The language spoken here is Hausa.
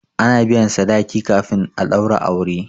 a na biyan sadaki kafin a daura aure